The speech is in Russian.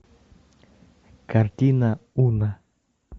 картина уна